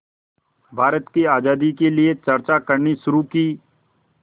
भारत की आज़ादी के लिए चर्चा करनी शुरू की